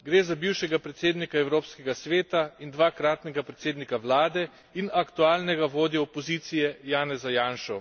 Gre za bivšega predsednika Evropskega sveta in dvakratnega predsednika vlade in aktualnega vodjo opozicije Janeza Janšo.